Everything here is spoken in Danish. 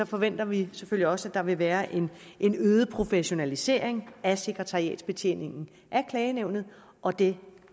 forventer vi selvfølgelig også at der vil være en en øget professionalisering af sekretariatsbetjeningen af klagenævnet og det